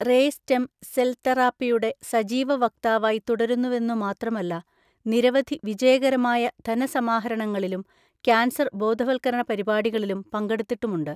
Ray stem cell തെറാപ്പിയുടെ സജീവ വക്താവായി തുടരുന്നുവെന്നു മാത്രമല്ല നിരവധി വിജയകരമായ ധനസമാഹരണങ്ങളിലും ക്യാൻസർ ബോധവൽക്കരണ പരിപാടികളിലും പങ്കെടുത്തിട്ടുമുണ്ട്.